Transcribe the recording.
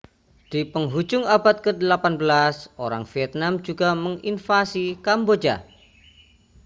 di pengujung abad ke-18 orang vietnam juga menginvasi kamboja